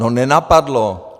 No nenapadlo.